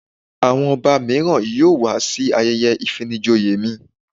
Àwọn Ọba míràn yóò wá sí ayẹyẹ ìfinijoyè mi.